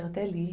Eu até li.